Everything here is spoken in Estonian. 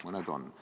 Mõned on.